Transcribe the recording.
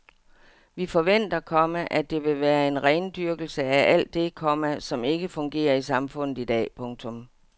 Vi forventer, komma at det vil være en rendyrkelse af alt det, komma som ikke fungerer i samfundet i dag. punktum